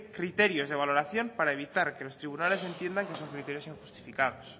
criterios de valoración para evitar que los tribunales entiendan que son criterios injustificados